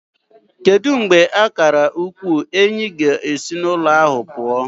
Kedu mgbe akara ukwu Enyi ga-esi n'ụzọ ahụ pụọ?